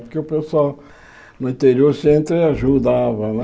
Porque o pessoal no interior sempre ajudava, né?